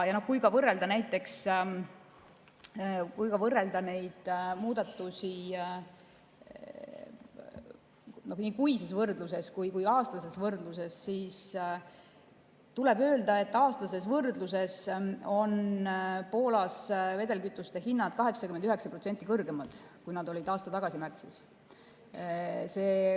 Kui võrrelda neid muudatusi nii kuises võrdluses kui aastases võrdluses, siis tuleb öelda, et aastases võrdluses on Poolas vedelkütuste hinnad 89% kõrgemad, kui nad olid aasta tagasi märtsis.